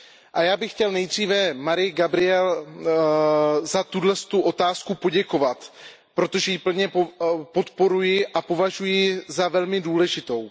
A já bych chtěl nejdříve Mariyi Gabrielové za tuto otázku poděkovat, protože ji plně podporuji a považuji ji za velmi důležitou.